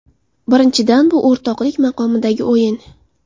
Birinchidan, bu o‘rtoqlik maqomidagi o‘yin.